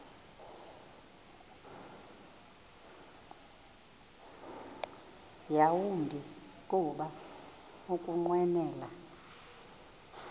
yawumbi kuba ukunqwenela